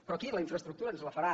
però aquí la infraestructura ens la farà